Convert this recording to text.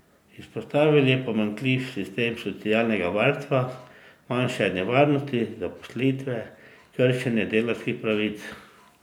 Izpostavil je pomanjkljiv sistem socialnega varstva, manjšanje varnosti zaposlitve, kršenje delavskih pravic.